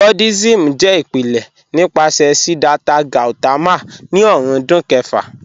Buddhism jẹ ipilẹ̀ nipasẹ̀ Siddhartha Gautama ni ọ̀rúndún kẹ̀fà.